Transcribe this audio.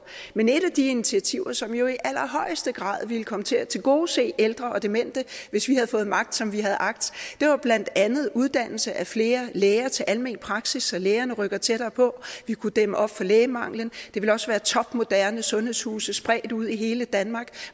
men et af de initiativer som jo i allerhøjeste grad ville komme til at tilgodese ældre og demente hvis vi havde fået magt som vi havde agt var blandt andet uddannelse af flere læger til almen praksis så lægerne rykker tættere på vi kunne dæmme op for lægemanglen og det ville også være topmoderne sundhedshuse spredt ud i hele danmark